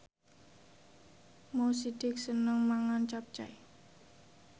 Mo Sidik seneng mangan capcay